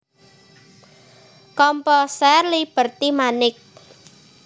Komposer Liberty Manik